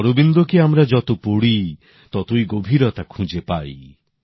শ্রী অরবিন্দকে আমরা যত পড়ি ততই গভীরতা খুঁজে পাই